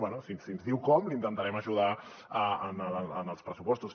bé si ens diu com l’intentarem ajudar en els pressupostos